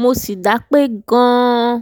mo sì dápé gan-an